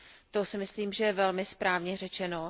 To si myslím, že je velmi správně řečeno.